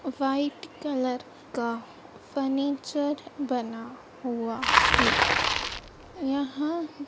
white colour का furniture बना हुआ है यहाँ--